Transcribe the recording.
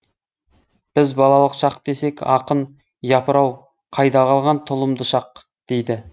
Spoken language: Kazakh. біз балалық шақ десек ақын япырау қайда қалған тұлымды шақ дейді